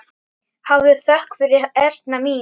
Hafðu þökk fyrir, Erna mín.